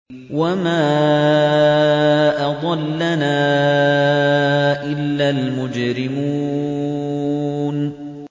وَمَا أَضَلَّنَا إِلَّا الْمُجْرِمُونَ